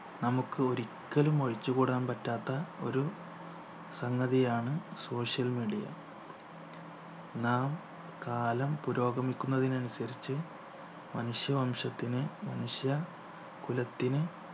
നമുക്ക് ഒരിക്കലും ഒഴിച്ചുകൂടാൻ പറ്റാത്ത ഒരു സംഗതിയാണ് social media നാം കാലം പുരോഗമിക്കുന്നതിനനുസരിച്ച്‌ മനുഷ്യ വംശത്തിനു മനുഷ്യ കുലത്തിന്